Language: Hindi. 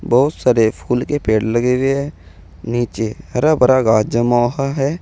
बहुत सारे फूल के पेड़ लगे हुए हैं नीचे हरा भरा घास जमा हुआ है।